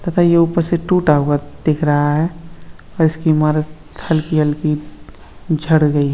पता ये ऊपर से टूटा हुआ दिख रहा है और इसकी इमारत हल्की हल्की झड़ गयी --